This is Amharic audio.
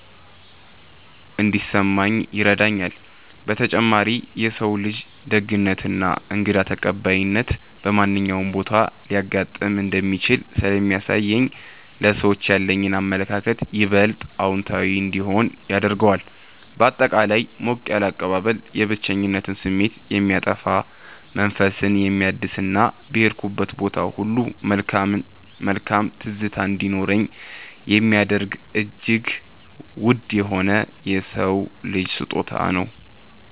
እንዲሰማኝ ይረዳኛል። በተጨማሪም የሰው ልጅ ደግነትና እንግዳ ተቀባይነት በማንኛውም ቦታ ሊያጋጥም እንደሚችል ስለሚያሳየኝ ለሰዎች ያለኝ አመለካከት ይበልጥ አዎንታዊ እንዲሆን ያደርገዋል። ባጠቃላይ ሞቅ ያለ አቀባበል የብቸኝነት ስሜትን የሚያጠፋ፣ መንፈስን የሚያድስና በሄድኩበት ቦታ ሁሉ መልካም ትዝታ እንዲኖረኝ የሚያደርግ እጅግ ውድ የሆነ የሰው ልጅ ስጦታ ነው።